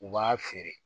U b'a feere